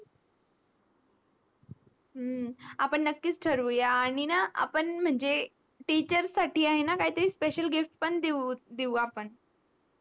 हु आनी आपण नक्कीच ठरवूया आणि आपण ना teacher साठी आहे ना special gift देवू देवू आपण